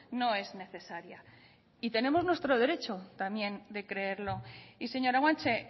no es necesaria y tenemos nuestro derecho también de creerlo y señora guanche